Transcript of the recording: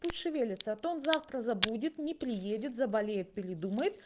пусть шевелится а то он завтра забудет не приедет заболеет предумает